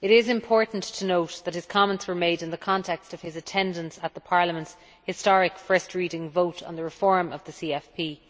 It is important to note that his comments were made in the context of his attendance at Parliament's historic first reading vote on the reform of the CFP